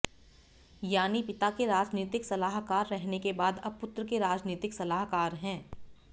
यानि पिता के राजनीतिक सलाहकार रहने के बाद अब पुत्र के राजनीतिक सलाहकार हैं